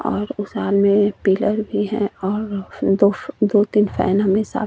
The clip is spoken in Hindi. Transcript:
और उस हाल में पिलर भी है और फ दो दो तीन फैन हमे सा --